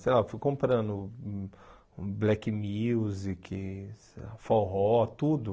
Sei lá, fui comprando black music, forró, tudo.